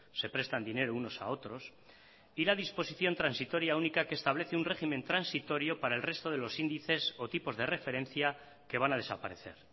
se prestan dinero unos a otros y la disposición transitoria única que establece un régimen transitorio para el resto de los índices o tipos de referencia que van a desaparecer